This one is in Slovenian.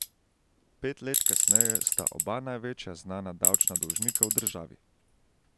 Pet let kasneje sta oba največja znana davčna dolžnika v državi.